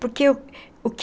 Porque o que